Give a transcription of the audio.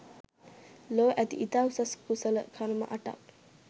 ලොව ඇති ඉතා උසස් කුසල කර්ම අටක්